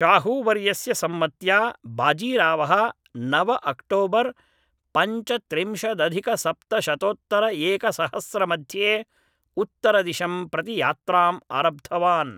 शाहूवर्यस्य सम्मत्या बाजीरावः नव अक्टोबर् पञ्चत्रिंशदधिकसप्तशतोत्तरएकसहस्रमध्ये उत्तरदिशं प्रति यात्राम् आरब्धवान्